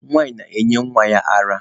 Nwanyị na-enye nwa ya ara.